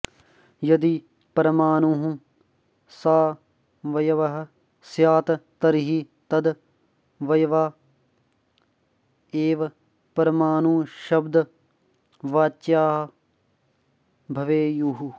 यदि परमाणुः सावयवः स्यात् तर्हि तदवयवा एव परमाणुशब्दवाच्या भवेयुः